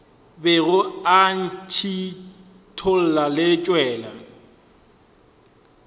bego e ntšhithola e tšwela